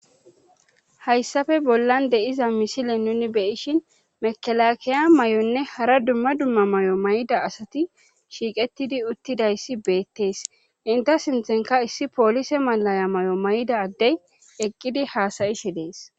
hayssafe bollan deiza misile nuni beyishin mekelakiya mayonne hara dumma dumma mayo mayida asati shiiqettidi uttidayssi beettees inte sinthenka issi poolise malaya mayo mayid addey eqqidi haasayishe dees